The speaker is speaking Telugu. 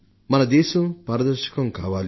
మన దేశం పారదర్శకం కావాలి